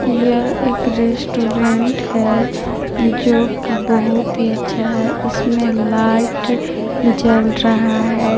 यह एक रेस्टोरेंट है। जो की बहुत ही अच्छा है। इसमें लाइट जल रहा है।